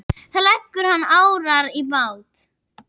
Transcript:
Þá leggur hann árar í bát.